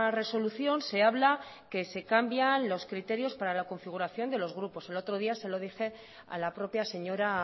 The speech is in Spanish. resolución se habla que se cambian los criterios para la configuración de los grupos el otro día se lo dije a la propia señora